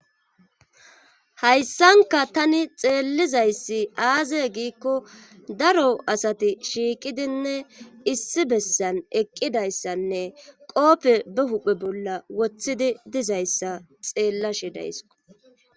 hayssanka tani xeellizayssi aaze giikko daro asati shiiqidinne issi bessan eqqidayssanne qoope be huphe bolla woththidi dizayssa xeellashe dayisko